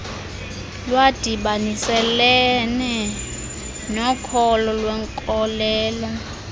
lwadibaniselene nokholo lwenkolelo